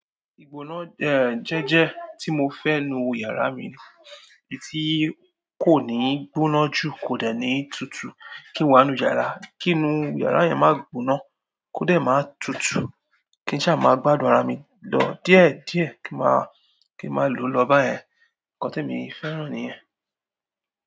Igboná jẹjẹ ti mọ fẹ nínú yàrá mi èyí tí kò ní gbóná jù kò dẹ̀ ní tutù. Kí n wá nu yàrá, kí inú yàrá yẹn má gboná, kó dẹ̀ máa tutù, kí n ṣá máa gbádùn ara mi lọ díẹ̀ díẹ̀ kí ma, kí ma lòó lọ bá yẹn. Ǹkan tí mo fẹ́ràn ni yẹn.